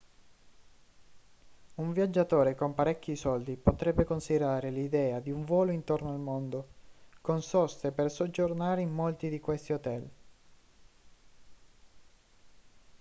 un viaggiatore con parecchi soldi potrebbe considerare l'idea di un volo intorno al mondo con soste per soggiornare in molti di questi hotel